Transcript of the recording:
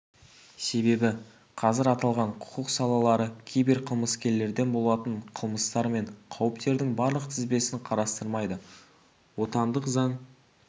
себебі қазір аталған құқық салалары киберқылмыскерлерден болатын қылмыстар мен қауіптердің барлық тізбесін қарастырмайды отандық заң